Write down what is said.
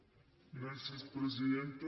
gràcies presidenta